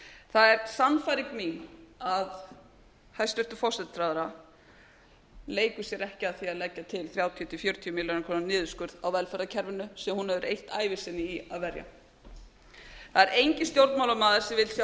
það er sannfæring mín að hæstvirtur forsætisráðherra leikur sér ekki að því að leggja til þrjátíu til fjörutíu milljarða króna niðurskurð á velferðarkerfinu sem hún hefur eytt ævi sinni í að verja það er enginn stjórnmálamaður sem vill sjá